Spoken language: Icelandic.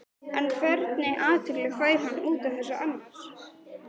En hvernig athygli fær hann út á þetta annars?